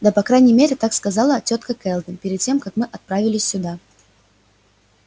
да по крайней мере так сказала тётка кэлвин перед тем как мы отправились сюда